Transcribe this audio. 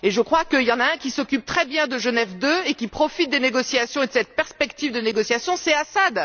Et je crois qu'il y en a un qui s'occupe très bien de Genève II et qui profite des négociations et de cette perspective de négociation, c'est Assad.